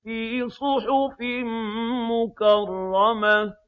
فِي صُحُفٍ مُّكَرَّمَةٍ